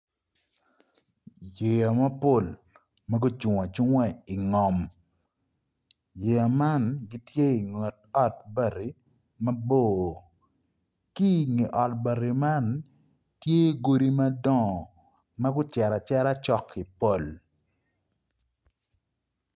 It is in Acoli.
Yeya mapol ma gucung acunga ingom yeya man gitye inget ot bati mabor ki nge ot bati man tye godi madongo magucito acita cok ki pol